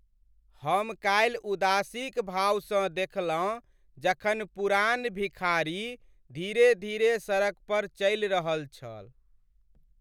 हम कालि उदासीक भावसँ देखलहुँ जखन पुरान भिखारी धीरे धीरे सड़क पर चलि रहल छल।